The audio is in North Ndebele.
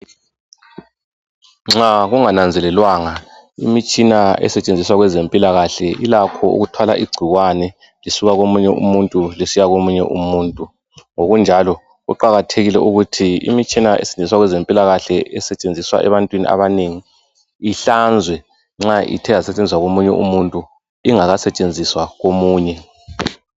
Nxa kungananzelelwanga imitshina esetshenziswa kwezempilakahle ilakho ukuthwala igcikwane lisuka komunye umuntu lisiya komunye umuntu. Ngokunjalo kuqakathekile ukuthi imitshina esetshenziswa kwezempilakahle esetshenziswa ebantwini abanengi ihlanzwe nxa ithe yasetshenziswa komunye umuntu ingakasetshenziswa komunye.